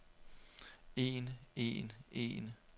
en en en